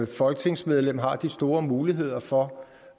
folketingsmedlem har de store muligheder for